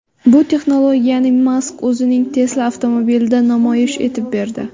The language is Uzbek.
Bu texnologiyani Mask o‘zining Tesla avtomobilida namoyish etib berdi.